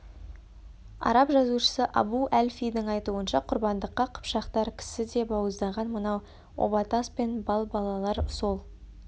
араб жазушысы абу әль-фидің айтуынша құрбандыққа қыпшақтар кісі де бауыздаған мынау оба тас пен балбалалар сол